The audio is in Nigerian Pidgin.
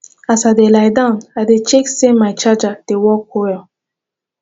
as i dey lie down i check say my charger dey work well